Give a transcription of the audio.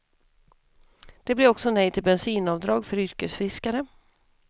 Det blir också nej till bensinavdrag för yrkesfiskare.